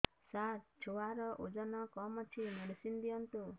ସାର ଛୁଆର ଓଜନ କମ ଅଛି ମେଡିସିନ ଦିଅନ୍ତୁ